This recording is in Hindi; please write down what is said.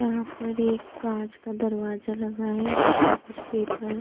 यहाँ पर एक काँच का दरवाजा लगा है जिसपे कुछ पेपर --